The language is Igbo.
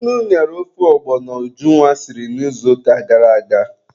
Nnu ñara ofe ọgbọnọ Ujunwa siri n'izuụka gara aga.